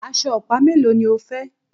Aṣọ ọ̀pá mélòó ni o fẹ́?